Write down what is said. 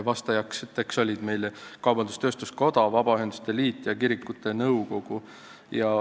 Vastasid Eesti Kaubandus-Tööstuskoda, Vabaühenduste Liit ja Eesti Kirikute Nõukogu.